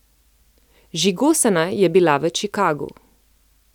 Žigosana je bila v Čikagu.